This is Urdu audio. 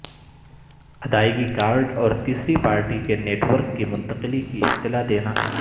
ادائیگی کارڈ اور تیسری پارٹی کے نیٹ ورک کی منتقلی کی اطلاع دینا